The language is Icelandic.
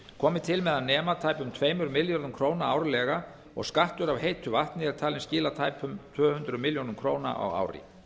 komi til með að nema tæpum tveimur milljörðum króna árlega og skattur af heitu vatni er talinn skila tæpum tvö hundruð milljóna króna á ári